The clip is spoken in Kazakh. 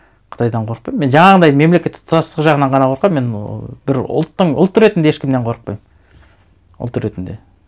қытайдан қорықпаймын мен жаңағындай мемлекеттік тұтастық жағынан ғана қорқамын мен ыыы бір ұлттың ұлт ретінде ешкімнен қорықпаймын ұлт ретінде